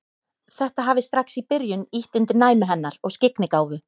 Þetta hafi strax í byrjun ýtt undir næmi hennar og skyggnigáfu.